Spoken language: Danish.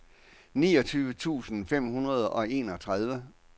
niogtyve tusind fem hundrede og enogtredive